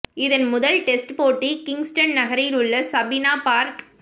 இதன் முதல் டெஸ்ட் போட்டி கிங்ஸ்டன் நகரில் உள்ள சபீனா பார்க்